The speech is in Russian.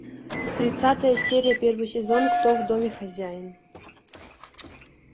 тридцатая серия первый сезон кто в доме хозяин